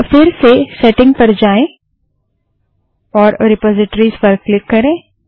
अब फिर से सेटिंग पर जाएँ और रिपाज़िटरिस पर क्लिक करें